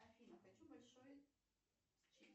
афина хочу большой